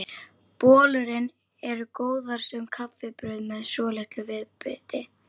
Bollurnar eru góðar sem kaffibrauð með svolitlu viðbiti.